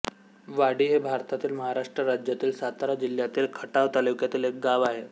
वाडी हे भारतातील महाराष्ट्र राज्यातील सातारा जिल्ह्यातील खटाव तालुक्यातील एक गाव आहे